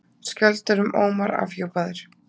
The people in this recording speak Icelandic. Skjöldur um Ómar afhjúpaður